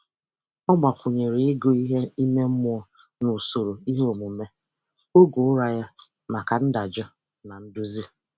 Ọ gbakwụnyere ịgụ ihe ime mmụọ n'usoro iheomume oge ụra ya maka ndajụ na nduzi.